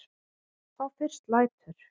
Þá fyrst lætur